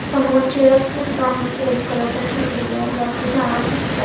समोर चेअर्स दिसत आहेत रेड कलरच्या ठेवलेल्या वरती झाड दिसत आहे.